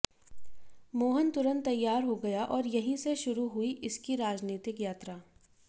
मोहन तुरंत तैयार हो गया और यहीं से शुरू हुई इसकी राजनितिक यात्रा